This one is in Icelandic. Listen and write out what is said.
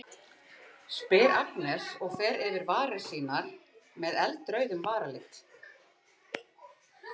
spyr Agnes og fer yfir varir sínar með með eldrauðum varalit.